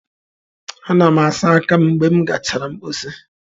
Ana m asa aka m mgbe m gachara mposi.